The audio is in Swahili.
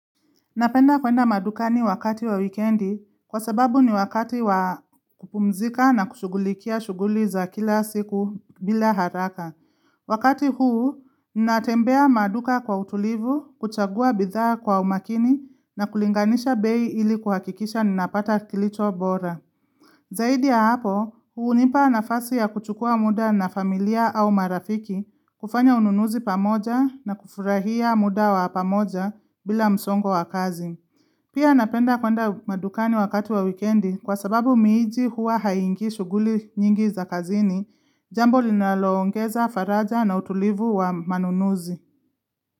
Napenda kwenda madukani wakati wa wikendi kwa sababu ni wakati wa kupumzika na kushugulikia shughuli za kila siku bila haraka. Wakati huu, natembea maduka kwa utulivu, kuchagua bidhaa kwa umakini na kulinganisha bei ili kuhakikisha ninapata kilicho bora. Zaidi ya hapo, hunipa nafasi ya kuchukua muda na familia au marafiki kufanya ununuzi pamoja na kufurahia muda wa pamoja bila msongo wa kazi. Pia napenda kwenda madukani wakati wa wikendi kwa sababu miji huwa haingi shughuli nyingi za kazini, jambo linaloongeza faraja na utulivu wa manunuzi.